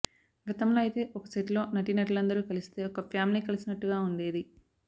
గతంలో అయితే ఒక సెట్ లో నటీనటులందరూ కలిస్తే ఒక ఫ్యామిలీ కలిసినట్టుగా ఉండేది